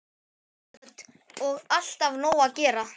Hödd: Og alltaf nóg að gera?